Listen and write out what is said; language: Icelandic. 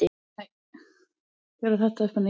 Öll úrslit má nálgast hérna.